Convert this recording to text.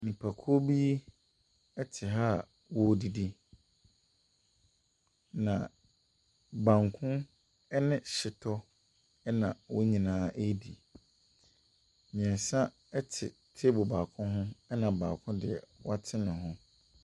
Nnipakuo bi te ha a wɔredidi, na banku ne hyetɔ na wɔn nyinaa redi. Mmeɛnsa te table baako ho, ɛnna baako deɛ, wate ne ho.